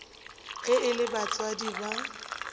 ge e le batswadi ba